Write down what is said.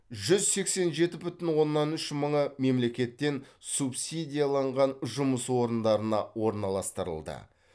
жүз сексен жеті бүтін оннан үш мыңы мемлекеттен субсидияланған жұмыс орындарына орналастырылды